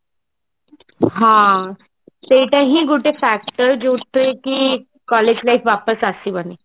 ହ ସେଇଟା ହିଁ ଗୋଟେ fact ଯୋଉଥିରେ କି collage life ୱାପସ ଆସିବନି